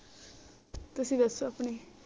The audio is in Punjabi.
ਤੁਸੀਂ ਦਸੋ ਆਪਣੀ